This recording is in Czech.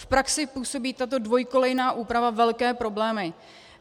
V praxi působí tato dvojkolejná úprava velké problémy.